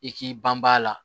I k'i banbaa la